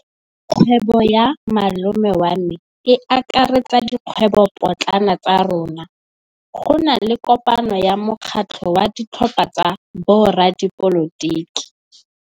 Kgwêbô ya malome wa me e akaretsa dikgwêbôpotlana tsa rona. Go na le kopanô ya mokgatlhô wa ditlhopha tsa boradipolotiki.